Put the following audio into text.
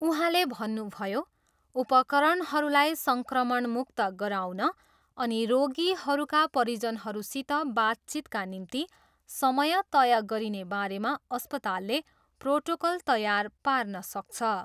उहाँले भन्नुभयो, उपकरणहरूलाई सङ्क्रमणमुक्त गराउन अनि रोगीहरूका परिजनहरूसित बातचितका निम्ति समय तय गरिने बारेमा अस्पतालले प्रोटोकल तयार पार्न सक्छ।